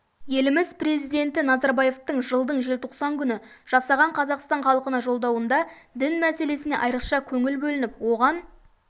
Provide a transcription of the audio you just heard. еліміз президенті назарбаевтың жылдың желтоқсан күні жасаған қазақстан халқына жолдауында дін мәселесіне айрықша көңіл бөлініп оған